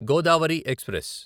Godavari express